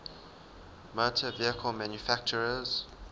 motor vehicle manufacturers